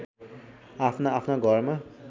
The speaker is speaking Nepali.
आफ्ना आफ्ना घरमा